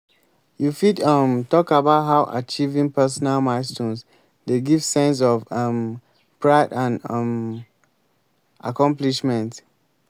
you fit um talk about how achieving personal milestones dey give sense of um pride and um accomplishment.